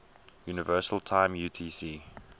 universal time utc